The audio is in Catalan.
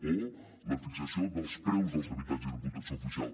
o la fixació dels preus dels habitatges amb protecció oficial